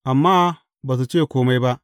Amma ba su ce kome ba.